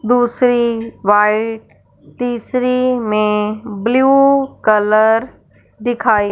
दूसरी वाइट तीसरी में ब्लू कलर दिखाई--